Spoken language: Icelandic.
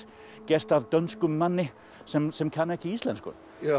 gert af dönskum manni sem sem kann ekki íslensku